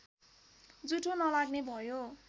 जुठो नलाग्ने भयो